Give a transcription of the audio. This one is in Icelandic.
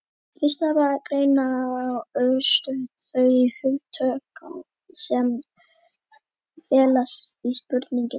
fyrst þarf að greina örstutt þau hugtök sem felast í spurningunni